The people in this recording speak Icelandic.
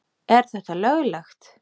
Er þetta löglegt?